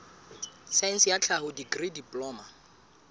saense ya tlhaho dikri diploma